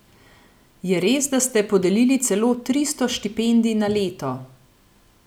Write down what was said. Je res, da ste podelili celo tristo štipendij na leto?